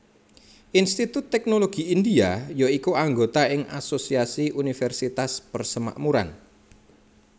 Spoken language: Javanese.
Institut Teknologi India ya iku anggota ing Asosiasi Universitas Persemakmuran